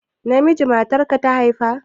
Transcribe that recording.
Namiji matarka ta haifa?